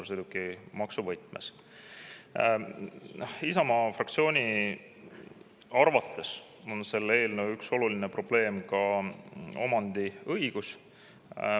Isamaa fraktsiooni arvates on selle eelnõu üks oluline probleem ka omandiõigus.